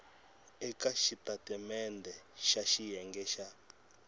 eka xitatimendhe xa xiyenge xa